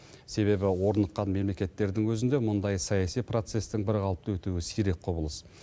себебі орныққан мемлекеттердің өзінде мұндай саяси процестің бірқалыпты өтуі сирек құбылыс